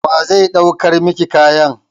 Wa zai ɗaukar miki kayan?